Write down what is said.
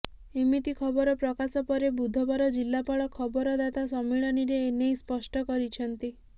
ଏମିତି ଖବର ପ୍ରକାଶ ପରେ ବୁଧବାର ଜିଲାପାଳ ଖବରଦାତା ସମ୍ମିଳନୀରେ ଏ ନେଇ ସ୍ପଷ୍ଟ କରିଛନ୍ତି